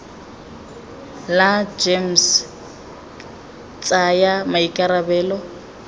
la gems ke tsaya maikarabelo